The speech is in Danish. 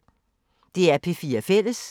DR P4 Fælles